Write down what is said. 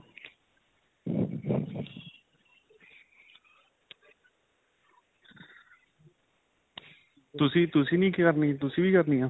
ਤੁਸੀਂ, ਤੁਸੀਂ ਨਹੀਂ ਕਰਨੀ. ਤੁਸੀਂ ਵੀ ਕਰਨੀ ਹੈ?